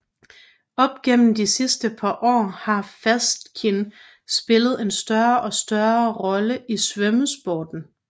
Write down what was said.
Op gennem de sidste par år har fastskin spillet en større og større rolle i svømmesporten